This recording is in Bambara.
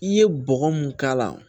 I ye bɔgɔ mun k'a la